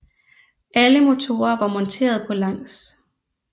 Alle motorer var monteret på langs